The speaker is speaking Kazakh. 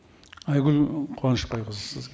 айгүл қуанышбайқызы сіз